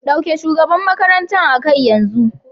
Dauke shugaban makarantar a kai yanzu.